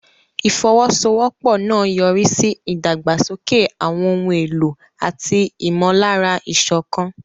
Ìfọwọ́sowọ́pọ̀ náà yọrí sí ìdàgbàsókè àwọn ohun èlò àti ìmọ̀lára ìṣọ̀kan.